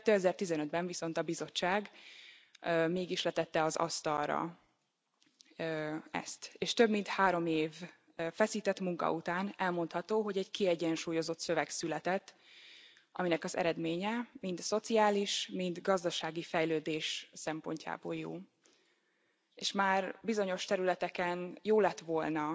2015 ben viszont a Bizottság mégis letette az asztalra ezt, és több mint három év feszített munka után elmondható, hogy egy kiegyensúlyozott szöveg született, aminek az eredménye, mind szociális, mind gazdasági fejlődés szempontjából jó, és már bizonyos területeken jó lett volna